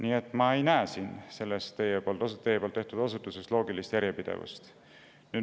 Seega ma ei näe teie osutuses loogilist järjepidevust.